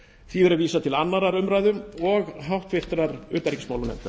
því verði vísað til annarrar umræðu og háttvirtrar utanríkismálanefndar